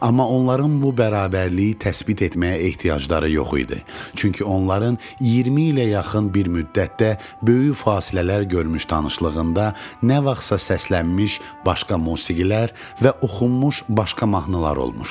Amma onların bu bərabərliyi təsbit etməyə ehtiyacları yox idi, çünki onların 20 ilə yaxın bir müddətdə böyük fasilələr görmüş tanışlığında nə vaxtsa səslənmiş başqa musiqilər və oxunmuş başqa mahnılar olmuşdu.